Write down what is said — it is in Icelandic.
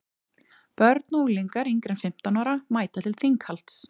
börn og unglingar yngri en fimmtán ára mæta til þinghalds